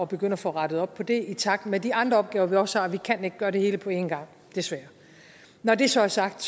begynde at få rettet op på det i takt med de andre opgaver vi også har vi kan ikke gøre det hele på en gang desværre når det så er sagt